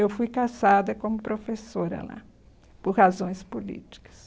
Eu fui caçada como professora lá, por razões políticas.